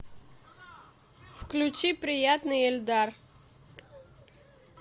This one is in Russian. включи приятный эльдар